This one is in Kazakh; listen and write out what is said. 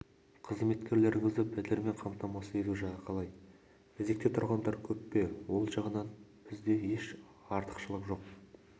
қызметкерлеріңізді пәтермен қамтамасыз ету жағы қалай кезекте тұрғандар көп пе ол жағынан бізде еш артықшылық жоқ